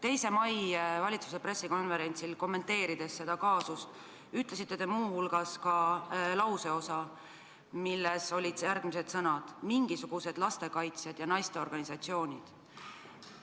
2. mail valitsuse pressikonverentsil, kommenteerides seda kaasust, ütlesite te muu hulgas lauseosa, milles olid järgmised sõnad: "mingisugused lastekaitsjad ja naisteorganisatsioonid".